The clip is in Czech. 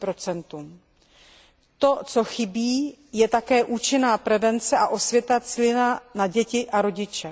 20 To, co chybí, je také účinná prevence a osvěta cílená na děti a rodiče.